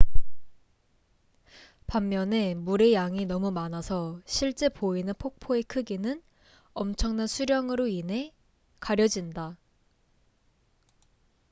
반면에 물의 양이 너무 많아서 실제 보이는 폭포의 크기는 엄청난 수량으로 인해 가려진다